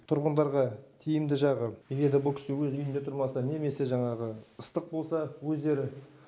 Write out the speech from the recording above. тұрғындарға тиімді жағы егер де бұл кісі өз үйінде тұрмаса немесе жаңағы ыстық болса өздері